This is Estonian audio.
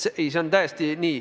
See on täiesti nii.